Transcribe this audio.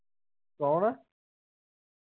ਕੌਣ ?